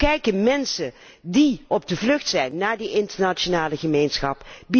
En hoe kijken mensen die op de vlucht zijn naar die internationale gemeenschap?